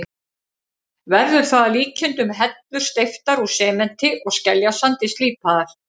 Verður það að líkindum hellur steyptar úr sementi og skeljasandi, slípaðar.